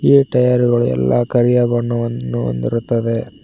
ಈ ಟಯರ್ ಗಳು ಎಲ್ಲಾ ಕರಿಯ ಬಣ್ಣವನ್ನು ಹೊಂದಿರುತ್ತದೆ.